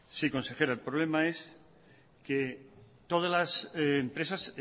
sí consejera el problema es que todas las empresas